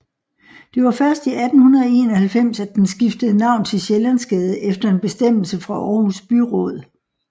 Det var først i 1891 at den skiftede navn til Sjællandsgade efter en bestemmelse fra Aarhus Byråd